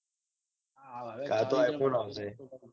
હા હવક તો આઈ ફોન આવશે.